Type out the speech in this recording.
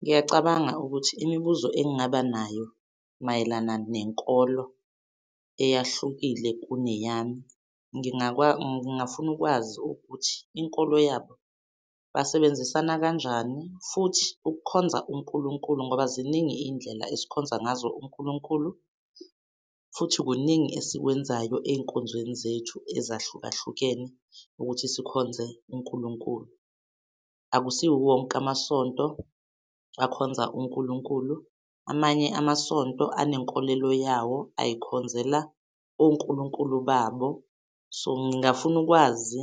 Ngiyacabanga ukuthi imibuzo engingaba nayo mayelana nenkolo eyahlukile kuneyami ngingakwazi ngingafuna ukwazi ukuthi inkolo yabo basebenzisana kanjani futhi ukukhonza uNkulunkulu ngoba ziningi izindlela esikhonza ngazo uNkulunkulu futhi kuningi esikwenzayo ey'nkonzweni zethu ezahlukahlukene ukuthi sikhonze uNkulunkulu. Akusiwo wonke amasonto, akhonza uNkulunkulu, amanye amasonto anenkolelo yawo. Ayikhonzela oNkulunkulu babo. So, ngingafuna ukwazi